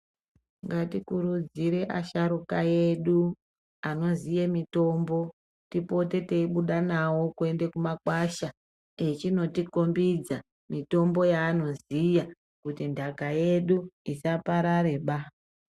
Ngatikurudzire asharukwa edu anoziye mitombo tipote teibuda nawo kuende kumakwasha echonotikhombidza mitombo yaanoziya kuti nthaka yedu isaparareba.